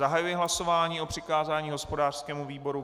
Zahajuji hlasování o přikázání hospodářskému výboru.